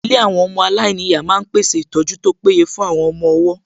Ilé àwọn ọmọ aláìníyàá náà pèsè ìtọ́jú tó péye fún àwọn ọmọ-ọwọ́